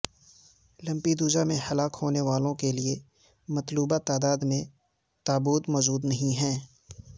Lampedusa میں ہلاک ہونے والوں کے لیے مطلوبہ تعداد میں تابوت موجود نہیں ہیں